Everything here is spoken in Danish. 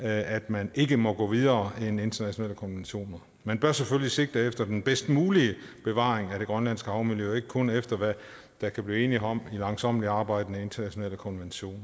at man ikke må gå videre end internationale konventioner man bør selvfølgelig sigte efter den bedst mulige bevaring af det grønlandske havmiljø og ikke kun efter hvad der kan blive enighed om i langsommeligt arbejdende internationale konventioner